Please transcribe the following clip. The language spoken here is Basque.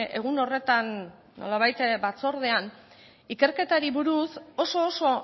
egun horretan nolabait batzordean ikerketari buruz oso oso